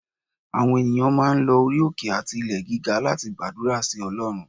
Àwon eniyan máà ń lò orí oké ati ilè gígá lati gbadurá si Olorún.